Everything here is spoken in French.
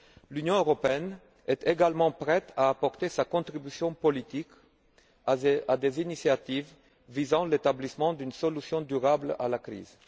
L'Union européenne est également prête à apporter sa contribution politique à des initiatives visant à l'établissement d'une solution durable à la crise.